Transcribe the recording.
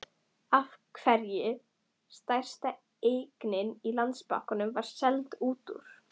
Af hverju stærsta eignin í Landsbankanum var seld út úr?